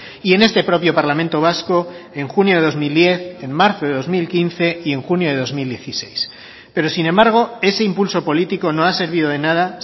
y en este propio parlamento vasco en junio de dos mil diez en marzo de dos mil quince y en junio de dos mil dieciséis pero sin embargo ese impulso político no ha servido de nada